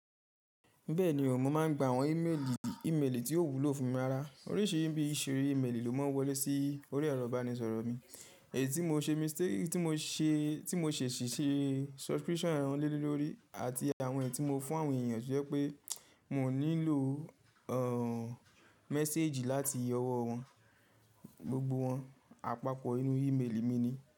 Bẹ́ẹ̀ni o, mo máà ń gba àwọn ímélì, ímélì tí ó wúlò fún mi ḿára. Oríṣiríṣi bí i ìṣiri í mélì ló máa ń wọlé sí orí ẹ̀rọ ìbánisọ̀rọ̀ mi. Èyí tí mo ṣe mistake, tí mo ṣe, tí mo ṣèṣì ṣe subscription ohun lílọ́ lílọ́rí àti àwọn èyí tí mo fún àwọn èèyàn jẹ́ pé mo nílò ọ̀ mẹ̀séèjì láti ọwọ́ wọn, gbogbo wọn àpapọ̀ nínú ímélì mi ni.